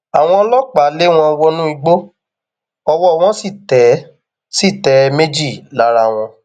àwọn ọlọpàá lé wọn wọnú igbó ọwọ wọn sì tẹ sì tẹ méjì lára wọn